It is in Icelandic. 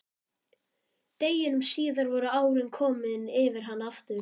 Deginum síðar voru árin komin yfir hana aftur.